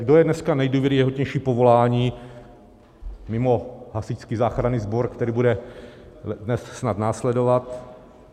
Kdo je dneska nejdůvěryhodnější povolání mimo Hasičský záchranný sbor, který bude dnes snad následovat?